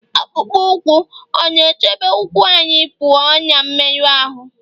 akpụkpọ ụkwụ ọ̀ na-echebe ụkwụ anyị pụọ ná mmerụ ahụ́?